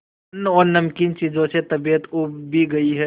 अन्न और नमकीन चीजों से तबीयत ऊब भी गई है